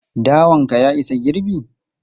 Dawan ka ya isa girbi?